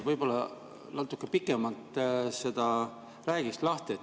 Võib-olla sa räägiksid natuke pikemalt seda lahti?